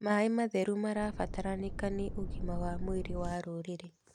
Maĩ matheru marabataranĩka nĩ ũgima wa mwĩrĩ wa rũrĩrĩ.